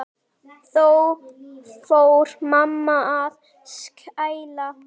Þá fór mamma að skæla.